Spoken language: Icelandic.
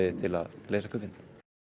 til að leysa kubbinn en